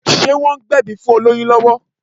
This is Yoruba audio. Ṣé wọ́n ń gbẹ̀bí fún olóyún lọ́wọ́?